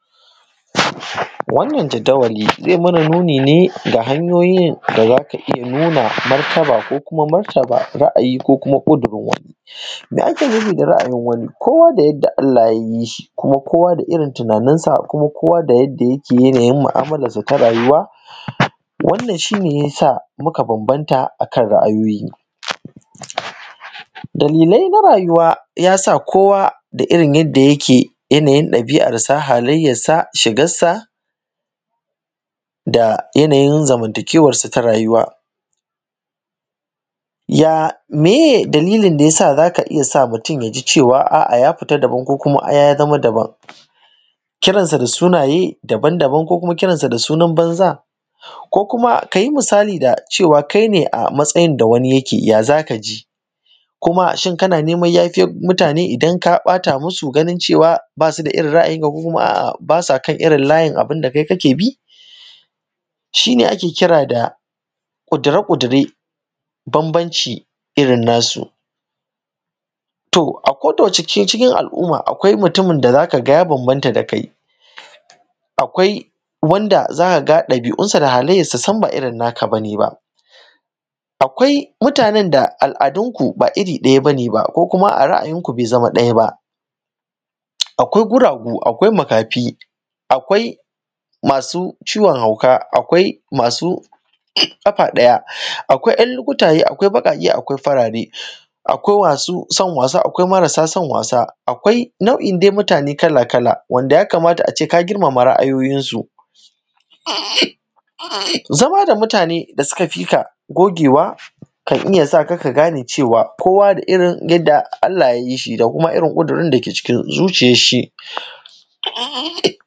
Wannan jadawali zai mana nuni ne da hanyoyin da za ka iya nuna martaba ko kuma martaba ra'ayi ko kuma ƙudirin wani. Mai ake nufi da ra'ayin wani? kowa da yadda Allah ya yii shi, kuma kowa da irin tunaaninsa, kuma kowa da yadda yake yanayin ma'amalarsa ta rayuwa, wannan shi ne ya sa muka bambanta akan ra'ayoyi. Dalilai na rayuwaa ya sa kowa da irin yadda yake yanayin ɗabii'arsa halayyarsa shigarsa da yanayin zamantakeewarsa ta rayuwa Ya mayee dalilin da ya sa za ka iya sa mutum ya ji cewa a'a ya fita daban ko kuma ya zama daban, kiransa da sunayee daban-daban ko kuma kiransa da sunan banza, ko kuma ka yii misali da cewa kai ne a matsayin da wani yake, ya za ka ji? kuma shin kana neman yafiyan muta:ne idan ka ɓata masu? Ganin cewa ba su da irin ra'ayinka ko kuma a'a baa sa kan irin layin abin da kai kake bi. Shi ne ake kira da ƙudire-ƙudire bambanci irin nasu, to a ko da wace cikin al'umma akwai mutumin da za ka ga ya bambanta da kai, akwai wanda za ka ga ɗabii'unsa da halayyarsa sam ba irin naka ba ne ba, akwai mutanen da al'adunku ba iri ɗaya ba ne ba ko kuma a ra’ayinku bai zama ɗaya ba. Akwai guragu, akwai makaafi, akwai masu ciwon hauka, akwai masu ƙafa ɗaya, akwai 'yan lukutayee, akwai baƙaaƙe, akwai farare, akwai masu son waasa, akwai marasa son waasa, akwai nau'in dai mutaane kala-kala wanda ya kamata a ce ka girmama ra'ayoyinsu. Zamaa da mutaane da suka fi ka gogewa kan iya sa ka ka gane cewa kowa da irin yadda Allah ya yii shi da kuma irin ƙudurin da ke cikin zuciyarshi.